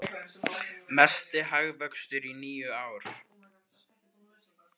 Mesti hagvöxtur í níu ár